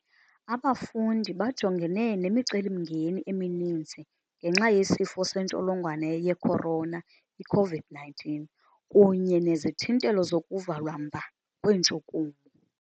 Abafundi bajongene nemiceli-mngeni emininzi ngenxa yeSifo seNtsholongwane ye-Corona, i-COVID-19, kunye nezithintelo zokuvalwa mba kweentshukumo.